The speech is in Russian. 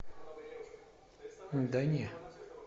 да не